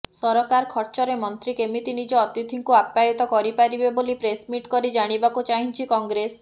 ସରକାର ଖର୍ଚ୍ଚରେ ମନ୍ତ୍ରୀ କେମିତି ନିଜ ଅତିଥିଙ୍କୁ ଅପ୍ୟାୟିତ କରିପାରିବେ ବୋଲି ପ୍ରେସମିଟ୍ କରି ଜାଣିବାକୁ ଚାହିଁଛି କଂଗ୍ରେସ